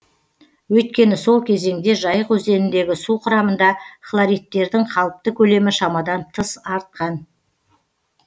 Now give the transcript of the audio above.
өйткені сол кезеңде жайық өзеніндегі су құрамында хлоридтердің қалыпты көлемі шамадан тыс артқан